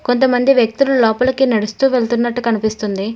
కొంతమంది వ్యక్తులు లోపలికి నడుస్తూ వెళ్తున్నట్టు కనిపిస్తుంది.